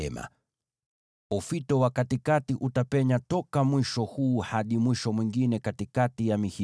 Taruma la katikati litapenya katikati ya mihimili kutoka mwisho mmoja hadi mwisho mwingine.